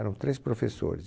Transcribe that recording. Eram três professores. E